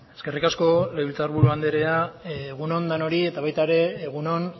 eskerrik asko legebiltzarburu andrea egun on denoi eta baita ere egun on